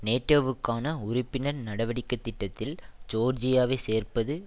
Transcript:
நேட்டோவுக்கான உறுப்பினர் நடவடிக்கை திட்டத்தில் ஜோர்ஜியாவை சேர்ப்பது